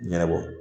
Ɲɛnabɔ